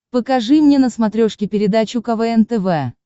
покажи мне на смотрешке передачу квн тв